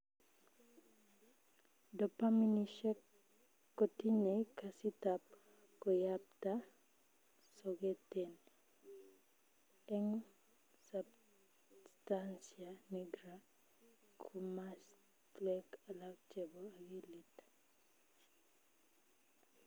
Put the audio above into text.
Dopaminnishek kotinyei kasitab koyapta soketen eng substancia nigra komaswek alak chepo akilit